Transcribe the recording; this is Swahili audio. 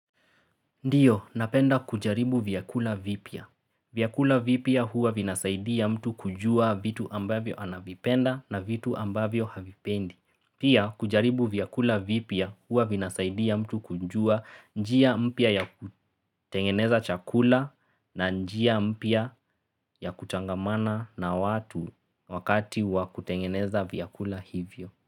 Ndio, napenda kujaribu vyakula vipya. Vyakula vipya huwa vinasaidia mtu kujua vitu ambavyo anavipenda na vitu ambavyo havipendi. Pia, kujaribu vyakula vipya huwa vinasaidia mtu kujua njia mpya ya kutengeneza chakula na njia mpya ya kutangamana na watu wakati wa kutengeneza vyakula hivyo.